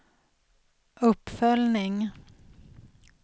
uppföljning